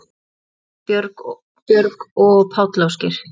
Áslaug, Björg og Páll Ásgeir.